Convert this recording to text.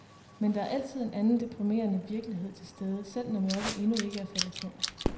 Men der er altid en anden deprimerende virkelighed til stede, selv når mørket endnu ikke er faldet på.